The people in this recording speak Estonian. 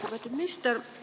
Lugupeetud minister!